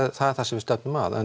það sem við stefnum að en